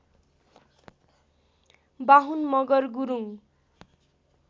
Bahun Magar Gurung